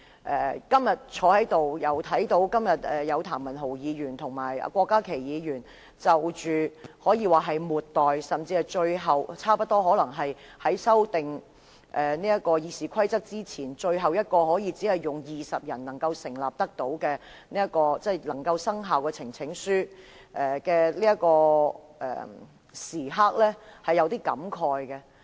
我今天坐在這裏，看到譚文豪議員和郭家麒議員提交可以說是末代，甚至可能是修改《議事規則》前最後一次只需20名議員支持便可生效的呈請書時，是有點感慨的。